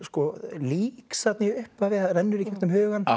líks þarna í upphafi það rennur í gegnum hugann